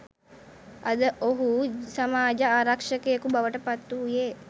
අද ඔහු සමාජ ආරක්ෂකයෙකු බවට පත් වූයේ